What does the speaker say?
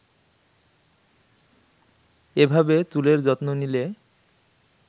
এভাবে চুলের যত্ন নিলে